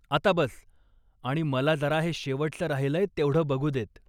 आता बस आणि मला जरा हे शेवटचं राहिलंय तेवढं बघू देत.